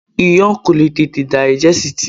Iyán kò lè tete dàìgẹ́sìtì.